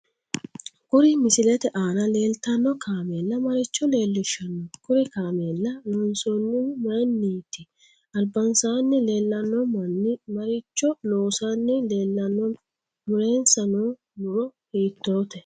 Kuri misilete aana leelttanno kaamella maricho leelishanno kuri kaamela loonsoonihu mayiiniti albasaani leelanno manni maricho loosani leelanno mulensa noo muro hiitoote